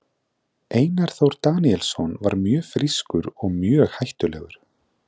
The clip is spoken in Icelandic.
Einar Þór Daníelsson var mjög frískur og mjög hættulegur.